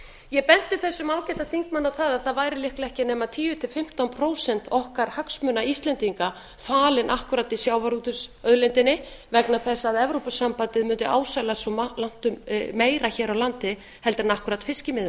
ég benti þessum ágæta þingmanni á það að það væru líklega ekki nema tíu til fimmtán prósent okkar hagsmuna íslendinga falin akkúrat í sjávarútvegsauðlindinni vegna þess að evrópusambandið mundi ásælast svo langtum meira hér á landi en akkúrat fiskimiðin